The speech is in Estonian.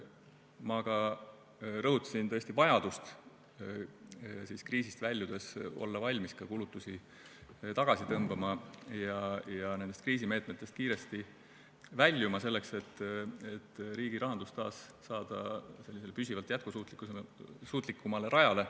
Ma rõhutasin ka vajadust olla kriisist väljudes valmis kulutusi tagasi tõmbama ja nendest kriisimeetmetest kiiresti väljuma, et riigirahandus saada taas püsivalt jätkusuutlikumale rajale.